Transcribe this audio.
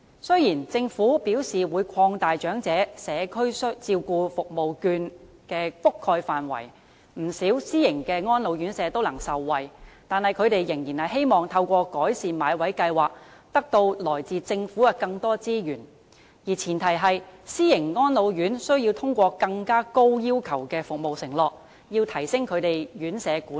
雖然政府表示會擴大長者社區照顧服務券的覆蓋範圍，不少私營安老院舍也能受惠，但他們仍然希望能透過"改善買位計劃"，從政府獲得更多資源，而前提是，私營安老院須通過更高要求的服務承諾，提升他們的院舍管理。